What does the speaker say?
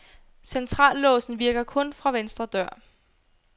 Centrallåsen virker kun fra venstre dør.